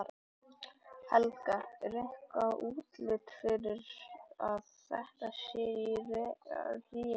Helga: En er eitthvað útlit fyrir að þetta sé í rénun?